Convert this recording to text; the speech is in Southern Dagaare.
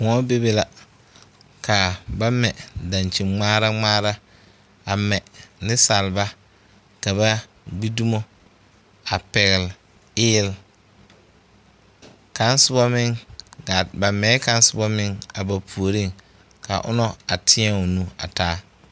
Koɔ bebe la ka ba mɛ dankyinŋmaara ŋmaara a mɛ nensalba ka ba gbi dumo a pɛgle eele kaŋ soba meŋ gaa ba mɛ kaŋ soba meŋ a ba puoriŋ ka ona a teɛ o nu a taa.